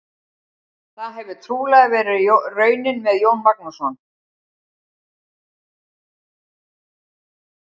Það hefur trúlega verið raunin með Jón Magnússon.